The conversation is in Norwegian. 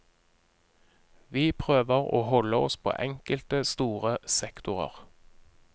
Vi prøver å holde oss på enkelte store sektorer.